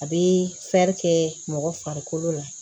A bɛ kɛ mɔgɔ farikolo la